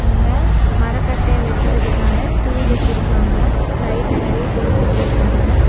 இங்க மரக்கட்டைய வெட்டுறதுக்கான டூல் வச்சிருக்காங்க சைட்ல நெறைய பொருள் வச்சிருக்காங்க.